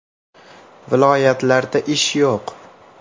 “Viloyatlarda ish yo‘q.